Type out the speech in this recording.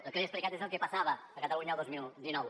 el que li he explicat és el que passava a catalunya el dos mil dinou